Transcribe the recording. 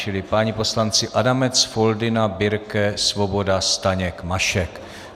Čili páni poslanci Adamec, Foldyna, Birke, Svoboda, Staněk, Mašek.